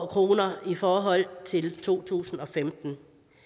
kroner i forhold til to tusind og femten